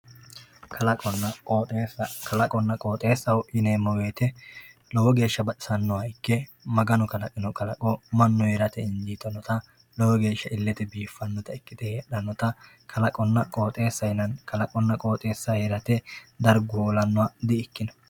kalaqqonna qoxeesa kalaqqonna qoxeesaho yineemo woyiite lowo geesha baxisannoha ikke maganu kalaqino kalaqo mannu heerate ikkitannota lowo geeshsha illete biifannota ikkite heedhannota kalaqqonna qoxeesa yinanni kalaqqonna qoxeesa heerate dargu hoolannoha di"ikino